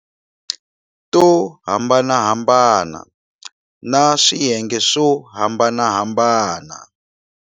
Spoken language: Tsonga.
To hambanahambana na swiyenge swo hambanahambana.